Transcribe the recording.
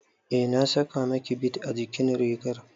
Eh, na saka miki bid a jikin rigar